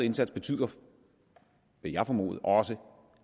indsats betyder vil jeg formode også